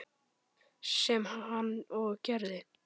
Sem hann og gerði.